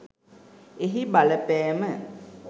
එහි බලපෑම